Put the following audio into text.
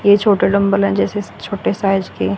के छोटे डंबल है जैसे छोटे साइज के --